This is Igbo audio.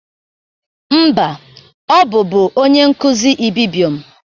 Mba, ọ bụbụ onyenkụzị ibibio m